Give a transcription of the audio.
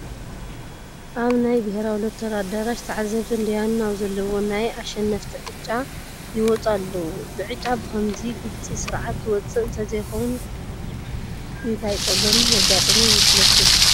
ኣብ ናይ ብሄራዊ ሎተሪ ኣዳራሽ ተዓዘብትን ዳያኑን ኣብ ዘለዉዎ ናይ ኣሸነፍቲ ዕጫ ይወፁ ኣለዉ፡፡ ዕጫ ብኸምዚ ግልፂ ስርዓት ዝወፅእ እንተዘይኸውን እንታይ ፀገም መጋጠመ ይመስለኩም?